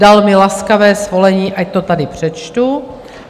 Dal mi laskavé svolení, ať to tady přečtu.